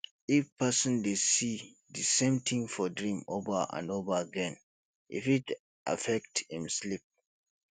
if person de see di same thing for dream over and over again e fit affect im sleep